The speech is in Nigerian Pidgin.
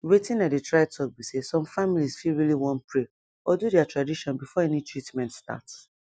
wetin i dey try talk be say some families fit really wan pray or do their tradition before any treatment start